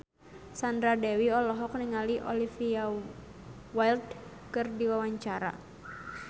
Sandra Dewi olohok ningali Olivia Wilde keur diwawancara